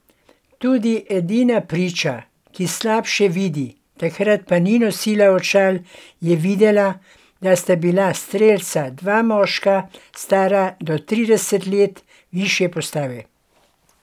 Tudi edina priča, ki slabše vidi, takrat pa ni nosila očal, je videla, da sta bila strelca dva moška, stara do trideset let, višje postave.